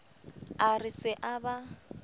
a re se a ba